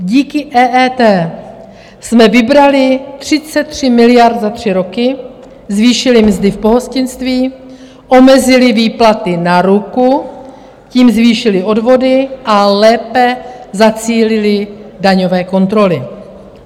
Díky EET jsme vybrali 33 miliard za tři roky, zvýšili mzdy v pohostinství, omezili výplaty na ruku, tím zvýšili odvody a lépe zacílili daňové kontroly.